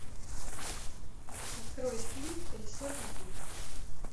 открой фильм колесо любви